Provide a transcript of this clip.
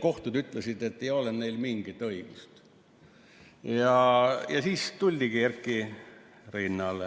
kohtud ütlesid, et ei ole neil mingit õigust –, siis tuldigi Erki rinnale.